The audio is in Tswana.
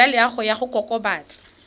ya loago ya go kokobatsa